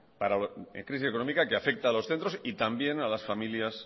económica que afecta a los centros y también a las familias